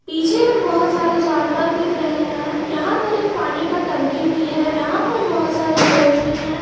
पीछे में बहुत सारे जानवर दिख रहे हैं। यहाँ पर एक पानी का टंकी भी है। यहाँ पर बहुत सारे लोग भी हैं।